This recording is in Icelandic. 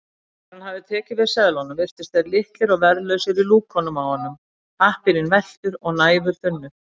Þegar hann hafði tekið við seðlunum virtust þeir litlir og verðlausir í lúkunum á honum, pappírinn velktur og næfurþunnur.